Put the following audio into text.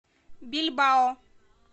бильбао